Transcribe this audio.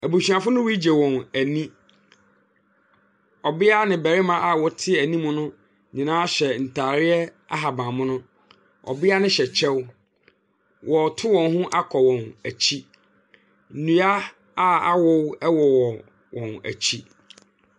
Abusuafo no regye wɔn ani. Ɔbia ne barima a wɔte anim no nyinaa hyɛ ntaadeɛ ahaban mono. Ɔbia no hyɛ kyɛw, ɔreto wɔn ho akɔ wɔn akyi. Nnua a awo wɔ wɔn akyi.